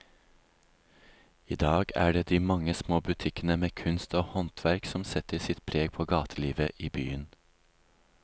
I dag er det de mange små butikkene med kunst og håndverk som setter sitt preg på gatelivet i byen.